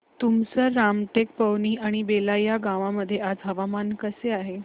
तुमसर रामटेक पवनी आणि बेला या गावांमध्ये आज हवामान कसे आहे